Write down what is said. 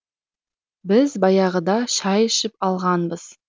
біз баяғыда шай ішіп алғанбыз